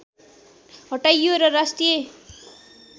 हटाइयो र राष्ट्रिय